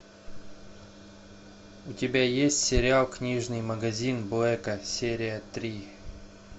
у тебя есть сериал книжный магазин блэка серия три